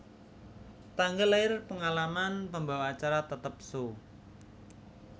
Tanggal lair Pengalaman pembawa acara tetap Show